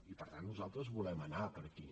i per tant nosaltres volem anar per aquí